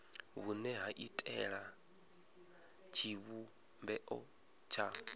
vhune ha iitela tshivhumbeo tsha